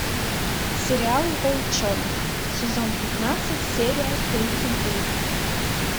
сериал волчонок сезон пятнадцать серия тридцать девять